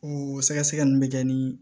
O sɛgɛsɛgɛli bɛ kɛ ni